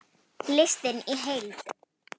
Listinn í heild